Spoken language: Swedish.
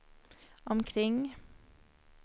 omkring